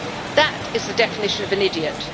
that is the definition of an idiot.